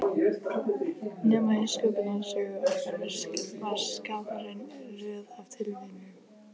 Nema í Sköpunarsögu okkar var Skaparinn röð af tilviljunum.